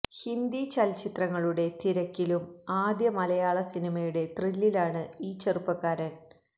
ഹിന്ദി ചലച്ചിത്രങ്ങളുടെ തിരക്കിലും ആദ്യ മലയാള സിനിമയുടെ ത്രില്ലിലാണ് ഈ ചെറുപ്പക്കാരന്